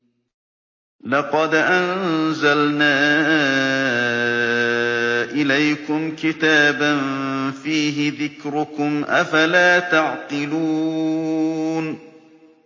لَقَدْ أَنزَلْنَا إِلَيْكُمْ كِتَابًا فِيهِ ذِكْرُكُمْ ۖ أَفَلَا تَعْقِلُونَ